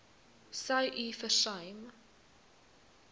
sou u versuim